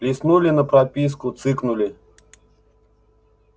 листнули на прописку цыкнули